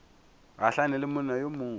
gahlane le monna yo mongwe